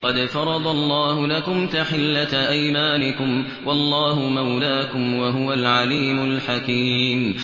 قَدْ فَرَضَ اللَّهُ لَكُمْ تَحِلَّةَ أَيْمَانِكُمْ ۚ وَاللَّهُ مَوْلَاكُمْ ۖ وَهُوَ الْعَلِيمُ الْحَكِيمُ